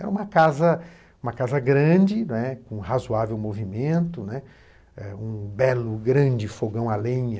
Era uma casa uma casa grande, né, com razoável movimento, né, um belo, grande fogão à lenha.